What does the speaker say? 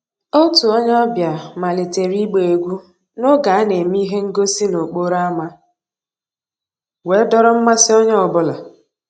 Ótú ónyé ọ̀bíá màlítérè ìgbá égwú n'ògé á ná-èmè íhé ngósì n'òkpòró ámá wéé dòọ́rọ́ mmàsí ónyé ọ́ bụ́là..